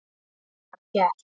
Það var gert.